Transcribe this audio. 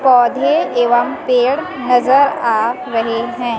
पौधे एवं पेड़ नजर आ रहे हैं।